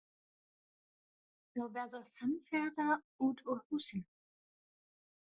Þau verða samferða út úr húsinu.